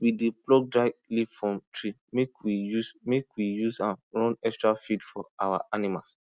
we dey pluck dry leaf from tree make we use make we use am run extra feed for our animals